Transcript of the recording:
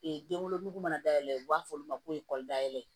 denwolonugu mana dayɛlɛ u b'a fɔ olu ma ko ekɔli dayɛlɛ